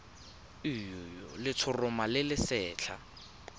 le letshoroma le le setlha